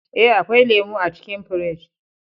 Eh, akwai lemu a cikin firij